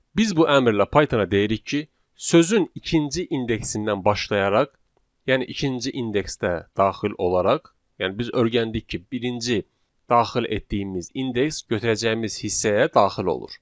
Biz bu əmrlə Pythona deyirik ki, sözün ikinci indeksindən başlayaraq, yəni ikinci indeksdə daxil olaraq, yəni biz öyrəndik ki, birinci daxil etdiyimiz indeks götürəcəyimiz hissəyə daxil olur.